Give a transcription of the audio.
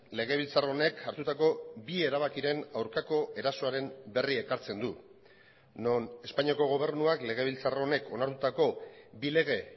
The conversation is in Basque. legebiltzar honek hartutako bi erabakiren aurkako erasoaren berri ekartzen du non espainiako gobernuak legebiltzar honek onartutako bi lege